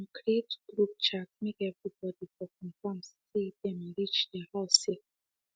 dem creat group chat make everyone for confirm say them reach their houses safely